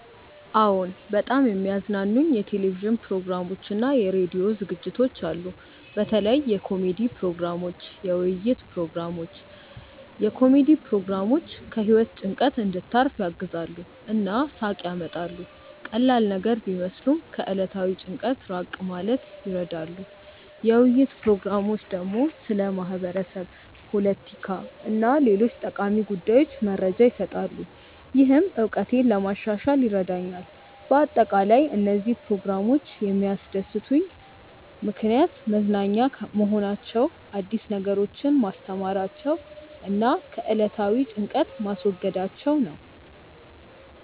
አዎን፣ በጣም የሚያዝናኑኝ የቴሌቪዥን ፕሮግራሞችና የራዲዮ ዝግጅቶች አሉ። በተለይ የኮሜዲ ፕሮግራሞች፣ የውይይት ፕሮግራሞች። የኮሜዲ ፕሮግራሞች ከህይወት ጭንቀት እንድታርፍ ያግዛሉ እና ሳቅ ያመጣሉ። ቀላል ነገር ቢመስሉም ከዕለታዊ ጭንቀት ራቅ ማለት ይረዳሉ። የውይይት ፕሮግራሞች ደግሞ ስለ ማህበረሰብ፣ ፖለቲካ እና ሌሎች ጠቃሚ ጉዳዮች መረጃ ይሰጣሉ፣ ይህም እውቀቴን ለማሻሻል ይረዳኛል በአጠቃላይ፣ እነዚህ ፕሮግራሞች የሚያስደስቱኝ ምክንያት መዝናኛ መሆናቸው፣ አዲስ ነገሮችን ማስተማራቸው እና ከዕለታዊ ጭንቀት ማስወገዳቸው ነው